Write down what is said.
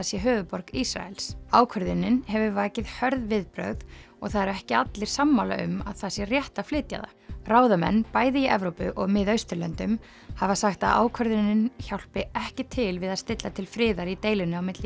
sé höfuðborg Ísraels ákvörðunin hefur vakið hörð viðbrögð og það eru ekki allir sammála um að það sé rétt að flytja það ráðamenn bæði í Evrópu og Mið Austurlöndum hafa sagt að ákvörðunin hjálpi ekki til við að stilla til friðar í deilunni á milli